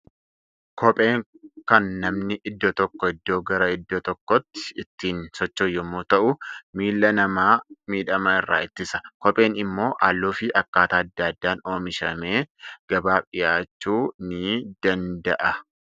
Kopheen kan namni iddoo tokkoo iddoo gara iddoo tokkootti ittiin socho'u yommuu ta'u, miilla namaa miidhama irra ittisa. Kopheen immoo halluu fi akkaataa adda addaan oomishamee gabaaf dhiyaachuu ni danda'a.